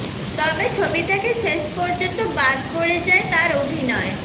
তবে ছবি থেকে শেষ পর্যন্ত বাদ পড়ে যায় তার অভিনয়